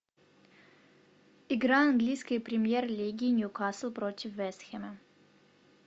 игра английской премьер лиги ньюкасл против вест хэма